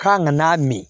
K'an ka n'a min